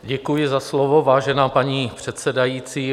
Děkuji za slovo, vážená paní předsedající.